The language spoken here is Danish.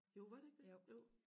Jo var det ikke det jo